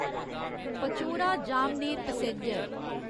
Pachora Jamner passenger